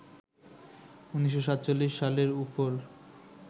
১৯৪৭ সালে উফোর